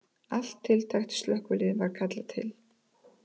Allt tiltækt slökkvilið var kallað til